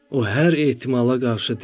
O hər ehtimala qarşı dedi: